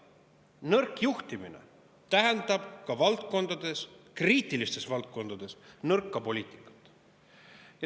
Nõrk juhtimine tähendab ka valdkondades, kriitilistes valdkondades nõrka poliitikat.